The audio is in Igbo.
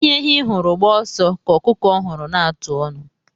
Ihe ehi hụrụ gbaa ọsọ ka ọkụkọ hụrụ na-atụ ọnu.